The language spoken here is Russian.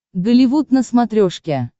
голливуд на смотрешке